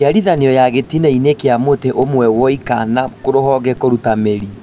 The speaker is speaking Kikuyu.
Njiarithanio ya gĩtina -inĩ kĩa mũtĩ ũmwe woika na rũhonge kũrutwo mĩri